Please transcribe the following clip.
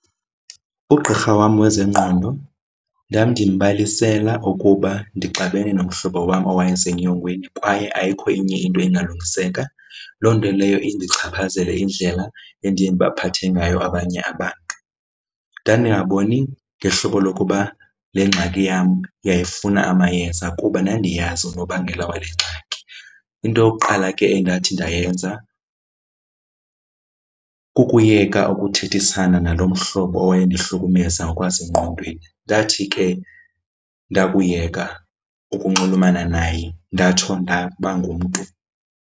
Ugqirha wam wezengqondo ndandimbalisela ukuba ndixabene nomhlobo wam owayesenyongweni kwaye ayikho enye into engalungiseka. Loo nto leyo indichaphazele indlela endiye ndibaphathe ngayo abanye abantu. Ndandingaboni ngehlobo lokuba le ngxaki yam yayifuna amayeza kuba ndandiyazi unobangela wale ngxaki. Into yokuqala ke endathi ndayenza kukuyeka ukuthethisana naloo mhlobo owayendihlukumeza ngokwasengqondweni. Ndathi ke ndakuyeka ukunxulumana naye ndatsho ndaba ngumntu.